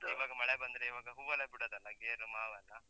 ಮತ್ತೀವಾಗ ಮಳೆ ಬಂದ್ರೆ ಈವಾಗ ಹೂ ಎಲ್ಲ ಬಿಡೊದಲ್ಲ, ಗೇರು, ಮಾವೆಲ್ಲ?